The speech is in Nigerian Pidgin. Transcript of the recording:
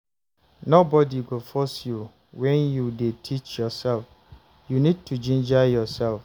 Nobody go force you when you dey teach yourself, you need to ginger yourself